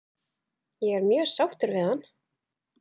Ég er mjög sáttur við hann?